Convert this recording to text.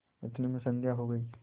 इतने में संध्या हो गयी